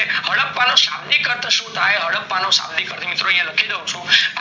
હદ્દાપ્પા નો સાદિક અર્થ સુ છે હદ્દાપ્પા નો શાબ્દિક અર્થ થાય આયા લખી દઉં છુ